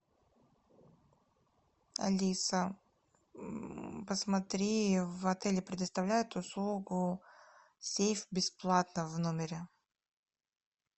алиса посмотри в отеле предоставляют услугу сейф бесплатно в номере